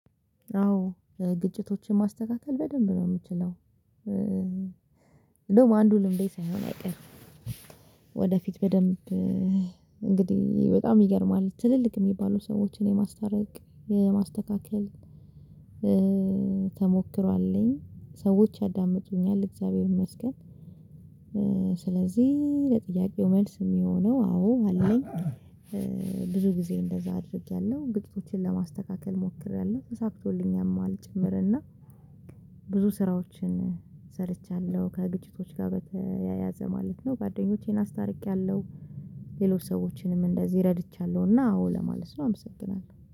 አዎ! ግጭቶችን ማስተካከል በደንብ ነው ምችለው። እንደውም አንዱ ልምዴ ሳይሆን አይቀርም። ወደፊት በደንብ እንግዲህ በጣም ይገርማል ትልልቅ ሚባሉ ሰዎችን የማስታረቅ የማስተካከል ተሞክሮ አለኝ። ሰዎች ያዳምጡኛል እግዚአብሔር ይመስገን! ስለዚህ ለጥያቄው መልስ ሚሆነው አዎ አለኝ ብዙ ጊዜ እንደዛ አድርጌያለሁ ግጭቶችን ለማስተካከል ሞክሬያለሁ ተሳፍቶልኛልም ጭምር እና ብዙ ስራዎችን ሰርቻለሁ ከግጭቶች ጋር በተያያዘ ማለት ነው ጓደኞቼን አስታርቄያለሁ ሌሎች ሰዎችንም እንደዚህ ረድቻለሁና አዎ ለማለት ነው። አመሰግናለሁ!